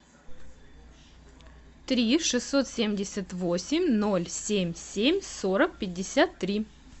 три шестьсот семьдесят восемь ноль семь семь сорок пятьдесят три